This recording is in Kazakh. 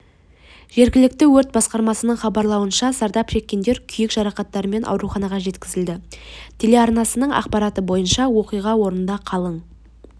жергілікті өрт басқармасының хабарлауынша зардап шеккендер күйік жарақаттарымен ауруханаға жеткізілді телеарнасының ақпараты бойынша оқиға орнында қалың